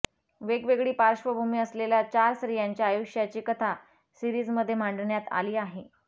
वेगवेगळी पार्श्वभूमी असलेल्या चार स्त्रियांच्या आयुष्याची कथा सीरिजमध्ये मांडण्यात आली आहे